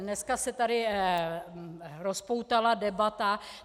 Dneska se tady rozpoutala debata.